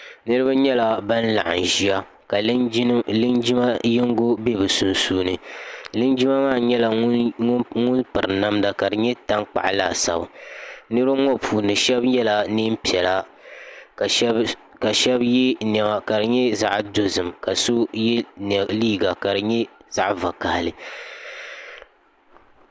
niraba nyɛla ban laɣam ʒiya ka linjima yinga bɛ bi sunsuuni linjima maa nyɛla ŋun piri namda ka di nyɛ tankpaɣu laasabu niraba ŋo puuni shab yɛla neen piɛla ka shab yɛ niɛma ka di nyɛ zaɣ dozim ka so yɛ liiga ka di nyɛ zaɣ vakaɣali